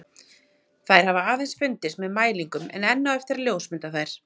Þær hafa aðeins fundist með mælingum en enn á eftir að ljósmynda þær.